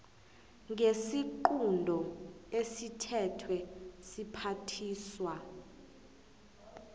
ngesiqunto esithethwe siphathiswa